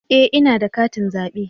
E! ina da katin zabe.